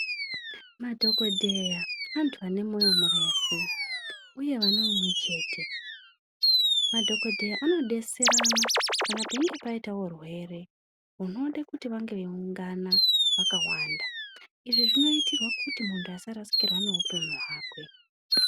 Madhokodheya antu ane moyo murefu uye vane umwechete. Madhokodheya anodetserana kana peinge paita urwere hunode kuti vange veiungana vakawanda. Izvi zvinoitirwa kuti muntu asarasikirwa neupenyu hwakwe.